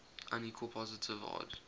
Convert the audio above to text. unequal positive odd